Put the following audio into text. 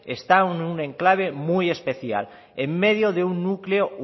está en un enclave muy especial en medio de un núcleo